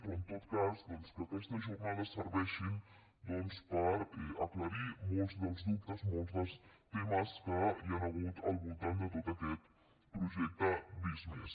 però en tot cas doncs que aquestes jornades serveixin per aclarir molts dels dubtes molts dels temes que hi han hagut al voltant de tot aquest projecte visc+